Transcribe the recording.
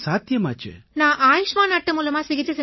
நான் ஆயுஷ்மான் அட்டை மூலமா சிகிச்சை செஞ்சுக்கிட்டேன்